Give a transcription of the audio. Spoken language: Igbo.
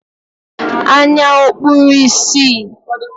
Anya ọ̀ kpuru ìsì?